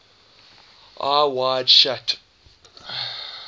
eyes wide shut